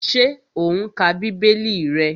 Ṣé o n ka bíbélì rẹ?